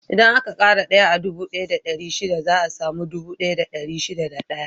Idan aka ƙara daya a dubu ɗaya da ɗari shida za a samu dubu ɗaya da dari shida da ɗaya.